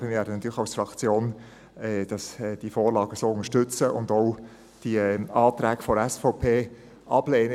Aber wir werden als Fraktion natürlich diese Vorlage so unterstützen und auch die Anträge der SVP ablehnen.